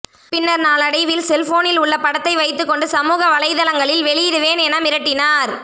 பின்னர் நாளடைவில் செல்போனில் உள்ள படத்தை வைத்துகொண்டு சமூக வலைதளங்களில் வெளியிடுவேன் என மிரட்டினார்